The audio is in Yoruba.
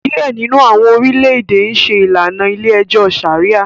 Diẹ nínú awọn orilẹ-ède n ṣe ìlànà ilé-ẹjọ Sharia